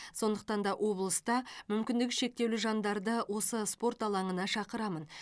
сондықтан да облыста мүмкіндігі шектеулі жандарды осы спорт алаңына шақырамын